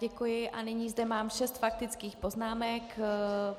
Děkuji a nyní zde mám šest faktických poznámek.